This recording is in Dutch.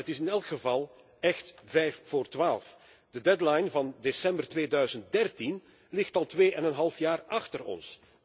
Maar het is in elk geval echt vijf voor twaalf. De deadline van december 2013 ligt al tweeënhalf jaar achter ons.